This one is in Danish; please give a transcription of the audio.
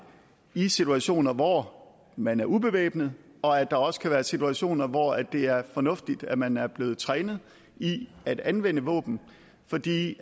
i situationer hvor man er ubevæbnet og at der også kan være situationer hvor det er fornuftigt at man er blevet trænet i at anvende våben fordi